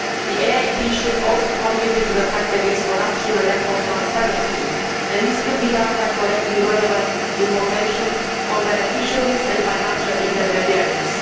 The EIB should also contribute to the fight against corruption and lack of transparency, and this could be done by collecting relevant information on beneficiaries and financial intermediaries.